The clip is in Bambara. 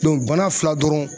bana fila dɔrɔn